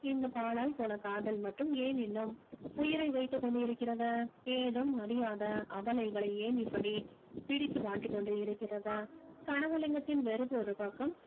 இந்தப் பாலாய் போன காதல் மட்டும் ஏன் இன்னும் உயிரை வைத்துக் கொண்டு இருக்கிறது ஏதும் அறியாத அபலைகளை ஏன் இப்படி பிடித்து வாட்டிக்கொண்டே இருக்கிறது கனகலிங்கத்தின் வெறுப்பு ஒரு பக்கம்